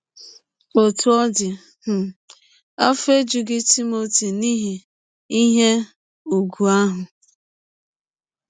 Ọtụ ọ dị um, afọ ejụghị Timọti n’ihi ihe ụgwụ ahụ.